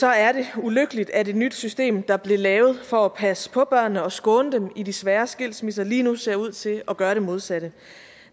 er det ulykkeligt at et nyt system der blev lavet for at passe på børnene og skåne dem i de svære skilsmisser lige nu ser ud til at gøre det modsatte